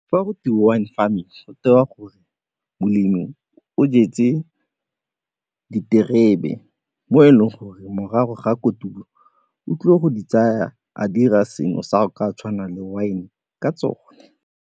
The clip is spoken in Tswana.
Fa go wine farming gore molemi o jetse diterebe mo e leng gore morago ga kotulo o tlile go di tsaya a dira sengwe sa go ka tshwana le wine ka tsone.